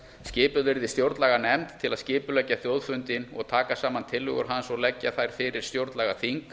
skipuð yrði stjórnlaganefnd til að skipuleggja þjóðfundinn og taka saman tillögur hans og leggja þær fyrir stjórnlagaþing